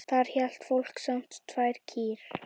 Þar hélt fólk samt tvær kýr.